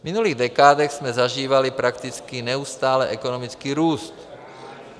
V minulých dekádách jsme zažívali prakticky neustálý ekonomický růst.